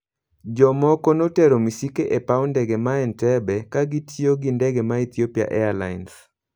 Jomoko notero misike e paw ndege ma Entebbeka kotiyogi ndege ma Ethiopia Airlines.